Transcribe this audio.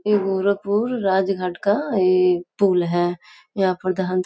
ये गोरखपुर राजघाट का ये पुल है। यहाँ पर धांत --